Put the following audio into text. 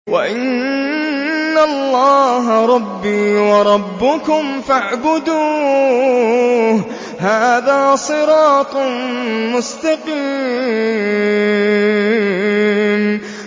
وَإِنَّ اللَّهَ رَبِّي وَرَبُّكُمْ فَاعْبُدُوهُ ۚ هَٰذَا صِرَاطٌ مُّسْتَقِيمٌ